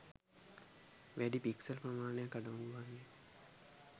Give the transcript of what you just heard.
වැඩි පික්සල් ප්‍රමාණයක් අඩංගු වන්නේ